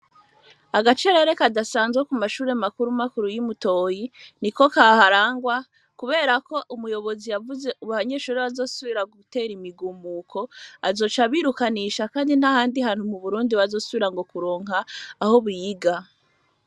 Agacerere kadasanzwe ku mashure makuru makuru y'imutoyi ni ko kaharangwa, kubera ko umuyobozi yavuze uba abanyeshure bazosubira gutera imigumuko azoca abirukanisha, kandi ntahandi hantu mu burundi bazosubira ngo kuronka aho biga.